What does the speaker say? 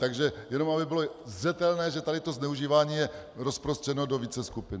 Takže jenom aby bylo zřetelné, že tady to zneužívání je rozprostřeno do více skupin.